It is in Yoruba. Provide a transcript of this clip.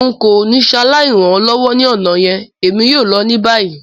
N ko ni saláì ran ọ lọwọ ni ọna yẹn, èmi yoo lọ ni bayi.